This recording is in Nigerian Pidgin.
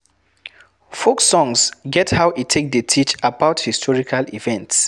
Folk songs get how e take dey teach about historical events